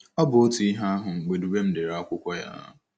Ọ bụ otu ihe ahụ mgbe Dubem dere akwụkwọ ya.